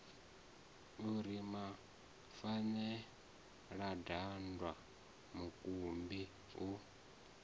u ri mafeladambwa mukumbi u